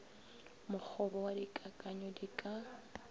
mokgobo wa dikakanyo di ka